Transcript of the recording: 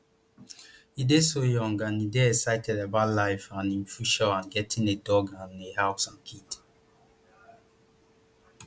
e dey so young and e dey excited about life and im future and getting a dog and a house and kids